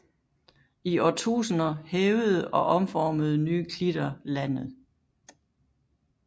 I årtusinder hævede og omformede nye klitter landet